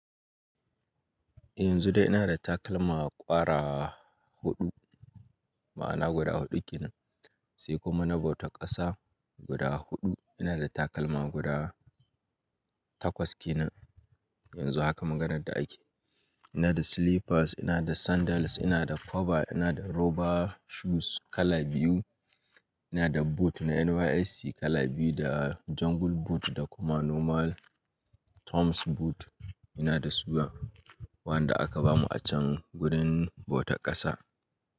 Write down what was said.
Yanzu dai ina da takalma ƙwara huɗu, ma'ana guda huɗu kenan. Sai kuma na bautar ƙasa guda huɗu. Ina da takalma guda takwas kenan yanzu haka maganar da ake. Ina da slippers, ina da sandals, ina da cover, ina da rubber shoes kala biyu, ina da boot na NYSC kala biyu da jungle boot da kuma normal Toms boot. Ina da su wanda aka bamu a can gurin bautar ƙasa.